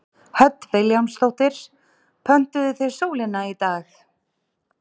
Hödd Vilhjálmsdóttir: Pöntuðuð þið sólina í dag?